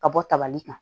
Ka bɔ tabali kan